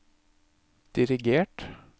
dirigert